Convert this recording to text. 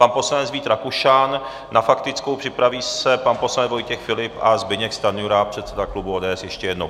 Pan poslanec Vít Rakušan na faktickou, připraví se pan poslanec Vojtěch Filip a Zbyněk Stanjura, předseda klubu ODS, ještě jednou.